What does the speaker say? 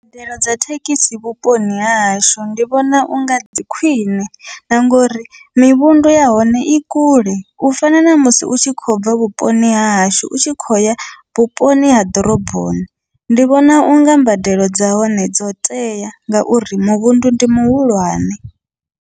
Mbadelo dza thekhisi vhuponi hahashu ndi vhona unga dzi khwiṋe, na ngori mivhundu ya hone i kule u fana namusi u tshi khobva vhuponi hahashu u tshi khoya vhuponi ha ḓoroboni, ndi vhona unga mbadelo dza hone dzo tea ngauri muvhundu ndi muhulwane.